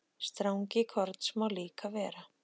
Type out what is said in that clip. Strangi korns má líka vera.